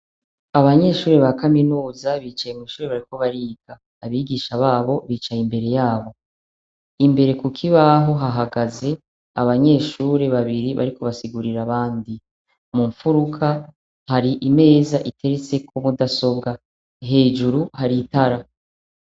Abanyeshure ba kaminuza bicaye mw'ishure bariko bariga ,abigisha babo bicaye imbere yabo. Imbere ku kibaho hahagaze abanyeshure babiri bariko basigurira abandi. Mu mfuruka, hari imeza iteretseko mudasobwa, hejuru hari itara.